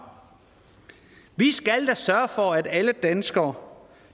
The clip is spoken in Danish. vi skal da sørge for at alle danskere